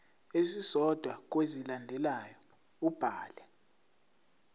esisodwa kwezilandelayo ubhale